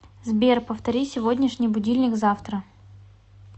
сбер повтори сегодняшний будильник завтра